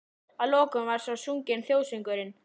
Að lokum var svo sunginn þjóðsöngurinn.